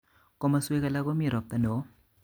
Komoswek alak komii ropta nowoo